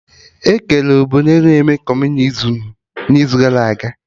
Ekere obodo na-eme Kọmunizim n'izu gara aga